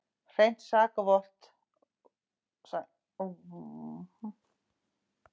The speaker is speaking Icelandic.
Hreint sakavottorð skilyrði.